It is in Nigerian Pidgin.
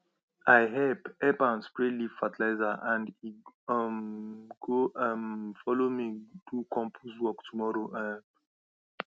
i help help am spray leaf fertilizer and he um go um follow me do compose work tomorrow um